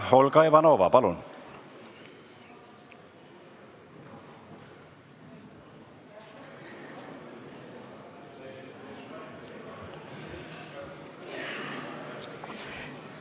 Olga Ivanova, palun!